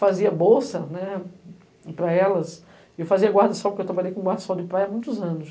Fazia bolsa, né?! Para elas e eu fazia guarda-sol, porque eu trabalhei com guarda-sol de praia há muitos anos.